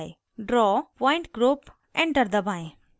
draw pointgroup enter दबाएं